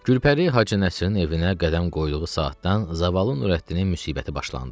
Gülpəri Hacı Nəsirin evinə qədəm qoyduğu saatdan zavallı Nurəddinin müsibəti başlandı.